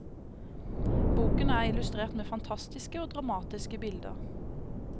Boken er illustrert med fantastiske og dramatiske bilder.